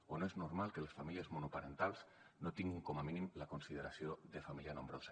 o no és normal que les famílies monoparentals no tinguin com a mínim la consideració de família nombrosa